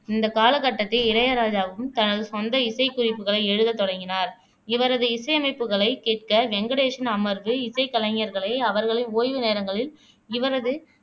இந்த காலகட்டத்தில் இளையராஜாவும் தனது சொந்த இசைக்குறிப்புகளை எழுதத் தொடங்கினார் இவரது இசையமைப்புகளைக் கேட்க வெங்கடேஷின் அமர்வு இசைக்கலைஞர்களை அவர்களின் ஓய்வு நேரங்களில் இவரது